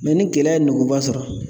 ni kɛlɛ ye nguuba sɔrɔ